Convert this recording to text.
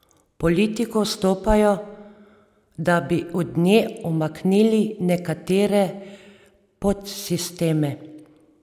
V politiko vstopajo, da bi od nje umaknili nekatere podsisteme.